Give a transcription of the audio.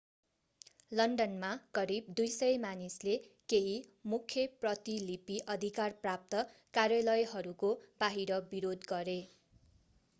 लन्डनमा करिब 200 मानिसले केही मुख्य प्रतिलिपि अधिकार प्राप्त कार्यालयहरूको बाहिर विरोध गरे